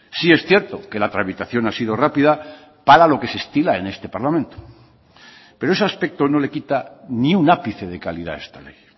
sí es cierto que la tramitación ha sido rápida para lo que se estila en este parlamento pero ese aspecto no le quita ni un ápice de calidad a esta ley